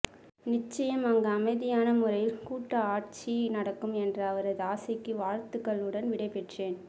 நிச்சயம் அங்கு அமைதியான முறையில் கூட்டு ஆட்சி நடக்கும் என்ற அவரது ஆசைக்கு வாழ்த்துக்களுடன் விடைபெற்றேன்